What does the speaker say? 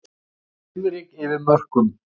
Svifryk yfir mörkum